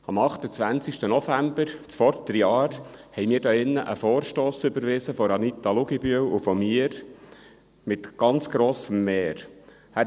– Am 28. November letzten Jahres haben wir hier einen Vorstoss von Anita Luginbühl und mir mit ganz grossem Mehr überwiesen.